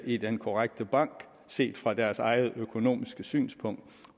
i den korrekte bank set fra deres eget økonomiske synspunkt